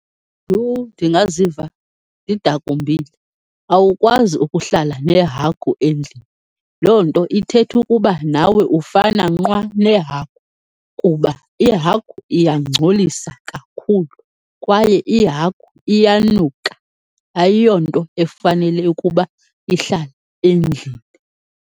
Yho! Ndingaziva ndidakumbile, awukwazi ukuhlala nehagu endlini. Loo nto ithetha ukuba nawe ufana nqwa nehagu kuba ihagu iyangcolisa kakhulu, kwaye ihagu iyanuka, ayiyo nto efanele ukuba ihlale endlini.